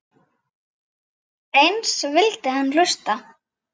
Eins vildi hann hlusta.